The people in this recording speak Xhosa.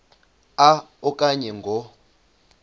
a okanye ngo